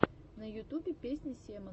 на ютубе песня семон